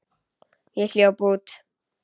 Ég hljóp út.